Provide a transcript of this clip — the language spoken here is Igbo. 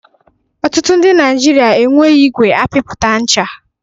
Ọtụtụ ndị Naijiria enweghị igwe apịpụta ncha.